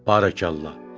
Barakallah!